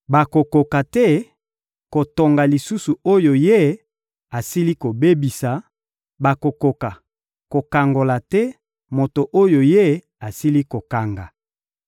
Bakokoka te kotonga lisusu oyo Ye asili kobebisa, bakokoka kokangola te moto oyo Ye asili kokanga.